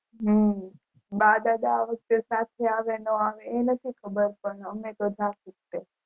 હમ બા દાદા આ વખતે સાથે આવે નો આવે એનાથી ખબર પણ અમેતો જાસુજ તે